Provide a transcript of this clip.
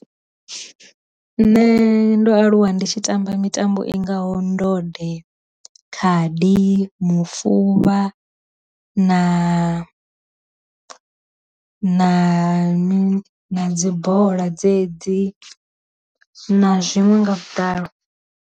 Nṋe ndo aluwa ndi tshi tamba mitambo i ngaho ndode, khadi, mufuvha, na na na mini na dzi bola dzedzi na zwiṅwe nga vhuḓalo.